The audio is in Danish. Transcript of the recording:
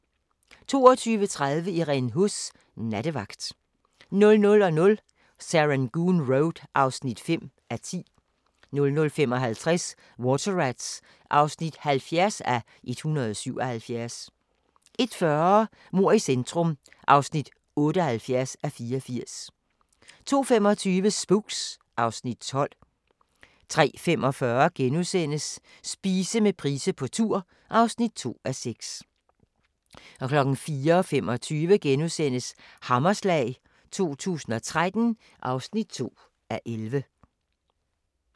22:30: Irene Huss: Nattevagt 00:00: Serangoon Road (5:10) 00:55: Water Rats (70:177) 01:40: Mord i centrum (78:84) 02:25: Spooks (Afs. 12) 03:45: Spise med Price på tur (2:6)* 04:25: Hammerslag 2013 (2:11)*